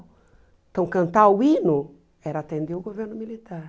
Então, cantar o hino era atender o governo militar.